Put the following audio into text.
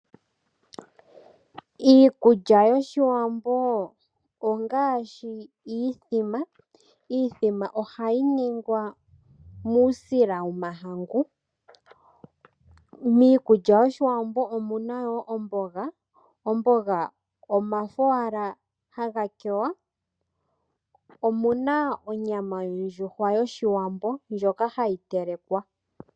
Iikulya yoshiwambo ongaashi iithima, iithima ohayi ningwa muusila womahangu. Miikulya yoshiwambo omuna wo omboga, omboga omafo wala hagakewa. Omuna onyama yondjuhwa yoshiwambo ndjoka hayitelekwa.